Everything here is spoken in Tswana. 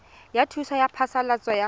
ya thuso ya phasalatso ya